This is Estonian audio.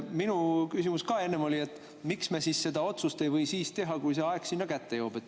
Minu küsimus oli ka enne, et miks me ei või teha seda otsust siis, kui see aeg kätte jõuab.